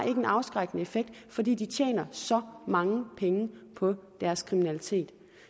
en afskrækkende effekt fordi de tjener så mange penge på deres kriminalitet